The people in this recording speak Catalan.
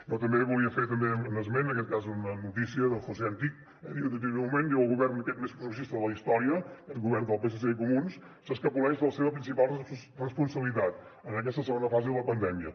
jo també volia fer un esment en aquest cas d’una notícia del josé antich que diu en aquest moment el govern més progressista de la historia el govern del psc i comuns s’escapoleix de la seva principal responsabilitat en aquesta segona fase de la pandèmia